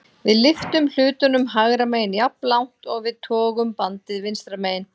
Við lyftum hlutnum hægra megin jafnlangt og við togum bandið vinstra megin.